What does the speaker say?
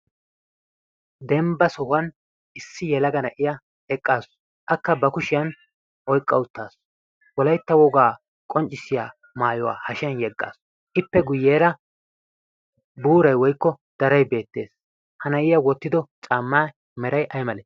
dembba sohuwan issi yelaga na'iya eqqaasu akka ba kushiyan oyqqauttaasu wolaitta wogaa qonccissiya maayuwaa hashiyan yeggaasu ippe guyyeera buurai woikko darai beettees. ha na'iya wottido caammaa meray ay male?